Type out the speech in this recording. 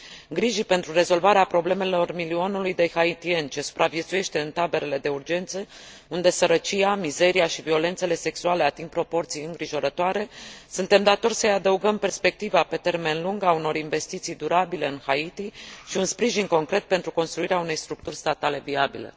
Grijii pentru rezolvarea problemelor milionului de haitieni ce supraviețuiește în taberele de urgență, unde sărăcia, mizeria și violențele sexuale ating proporții îngrijorătoare, suntem datori să îi adăugăm perspectiva pe termen lung a unor investiții durabile în Haiti și un sprijin concret pentru construirea unei structuri statale viabile.